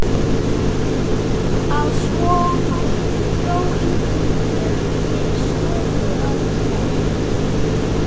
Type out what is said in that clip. Að svo mæltu dró Ingimundur Björn til stofu að Knerri.